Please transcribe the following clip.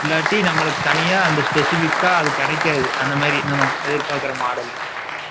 , இல்லாட்டி, நம்மளுக்கு தனியா, அந்த specific ஆ, அது கிடைக்காது. அந்த மாதிரி, நம்ம எதிர்பார்க்கிற model .